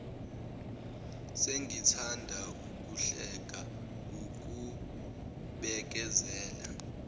sengithanda ukuhluleka wukubekezela